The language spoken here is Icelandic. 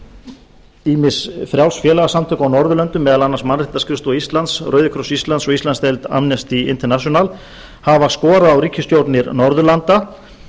að ýmis frjáls félagasamtök á norðurlöndum meðal annars mannréttindaskrifstofa íslands rauðikross íslands og íslandsdeild amnesty international hafa skorað á ríkisstjórnar norðurlanda